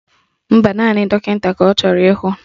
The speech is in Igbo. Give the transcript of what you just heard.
Mba, naanị dọkịta ka ọ chọrọ ịhụ